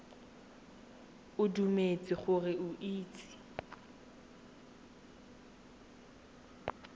o dumetse gore o itse